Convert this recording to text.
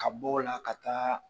Ka bɔ o la ka taa